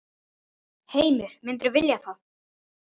Heimir: Myndirðu vilja það?